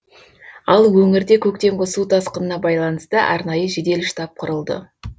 ал өңірде көктемгі су тасқынына байланысты арнайы жедел штаб құрылды